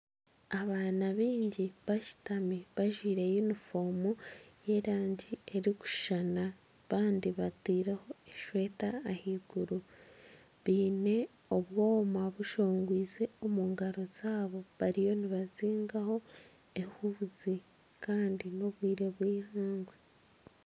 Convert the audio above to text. Abaana baingi bashutami bajwire yunifomu y'erangi erikushushana. Abandi batireho eshweta ahiguru baine obwoma bushongwize omu ngaro zaabo. Bariyo nibazihaho ehuzi Kandi n'obwire bwihangwe.